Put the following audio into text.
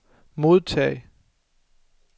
modtag